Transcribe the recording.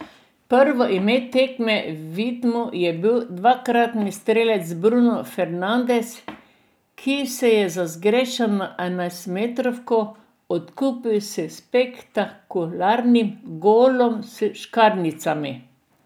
Prvo ime tekme v Vidmu je bil dvakratni strelec Bruno Fernandes, ki se je za zgrešeno enajstmetrovko odkupil s spektakularnim golom s škarjicami.